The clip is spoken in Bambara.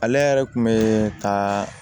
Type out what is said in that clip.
Ale yɛrɛ kun bɛ ka